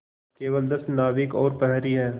केवल दस नाविक और प्रहरी है